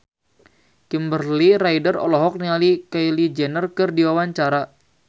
Kimberly Ryder olohok ningali Kylie Jenner keur diwawancara